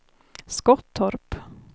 Skottorp